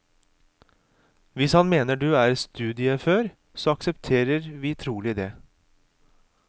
Hvis han mener du er studieufør, så aksepterer vi trolig det.